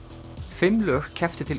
fimm lög kepptu til